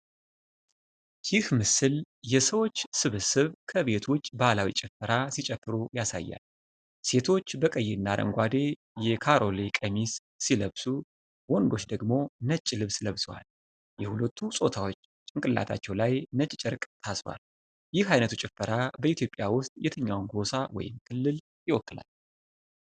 ይህ ምስል የሰዎች ስብስብ ከቤት ውጭ ባህላዊ ጭፈራ ሲጨፍሩ ያሳያል። ሴቶች በቀይና አረንጓዴ የካሮሌ ቀሚስ ሲለብሱ፣ ወንዶች ደግሞ ነጭ ልብስ ለብሰዋል። የሁለቱም ጾታዎች ጭንቅላታቸው ላይ ነጭ ጨርቅ ታስሯል። ይህ ዓይነቱ ጭፈራ በኢትዮጵያ ውስጥ የትኛውን ጎሳ ወይም ክልል ይወክላል?